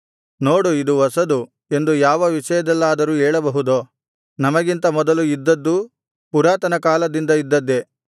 ನೋಡು ಇದು ಹೊಸದು ಎಂದು ಯಾವ ವಿಷಯದಲ್ಲಾದರೂ ಹೇಳಬಹುದೋ ನಮಗಿಂತ ಮೊದಲು ಇದ್ದದ್ದು ಪುರಾತನ ಕಾಲದಿಂದ ಇದ್ದದ್ದೇ